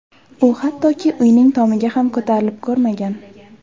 U hattoki uyning tomiga ham ko‘tarilib ko‘rmagan.